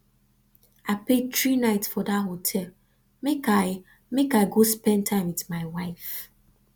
i pay three night for dat hotel make i make i go spend time wit my wife